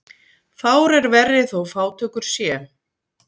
Fár er verri þó fátækur sé.